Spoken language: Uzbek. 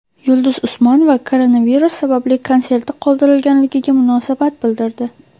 Yulduz Usmonova koronavirus sabab konserti qoldirilganiga munosabat bildirdi .